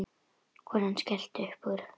Konan skellti upp úr.